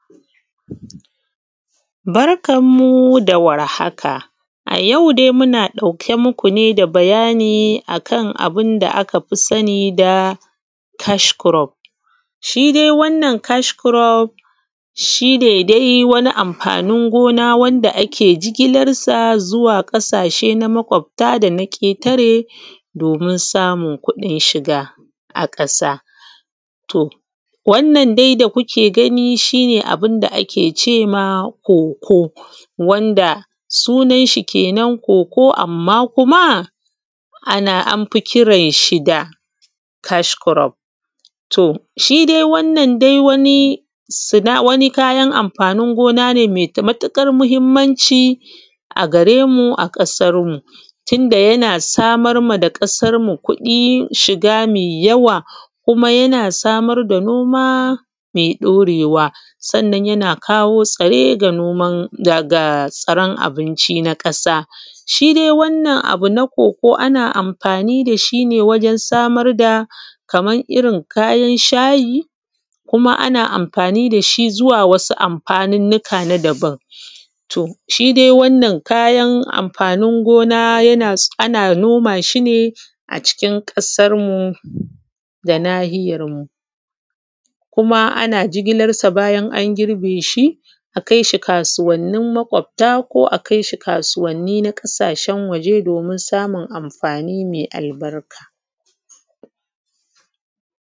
Barkan mu da war haka. A yau dai muna ɗauke muku da bayani akan abun da aka fi sani da cash crop. Shi dai wannan cash crop shi ne dai wani amfanin gona wanda ake jigilan sa zuwa ƙasashe na maƙwabta da na ƙetare domin samun kuɗin shiga a ƙasa. To wannan da kuke gani shi ne abun da ake cema Cocoa wanda sunanshi kenan Cocoa amma kuma ana an fi kiranshi da cash crop. To shi dai wannan dai wani wani kayan amfanin gona ne mai matuƙar mahimmanci a gare mu a ƙasar mu, tunda yana samar ma da ƙasar mu kuɗin shiga mai yawa, kuma yana samar da noma mai ɗorewa. Sannan yana kawo tsare ga noman ga tsaren abinci na ƙasa. Shi dai wannan abu na Cocoa ana amfani da shi ne wajan samar da kaman irrin kayan shayi, kuma ana amfani da shi zuwa wasu amfanunuka na daban. To shi dai wannan kayan amfanin gona yana ana noma shi ne a cikin ƙasar mu da nahiyar mu, kuma ana jigilan sa bayan an girbeshi a kai shi kasuwannin maƙobta ko a kai shi kasuwanni na ƙasashen waje domin samun amfani mai albarka.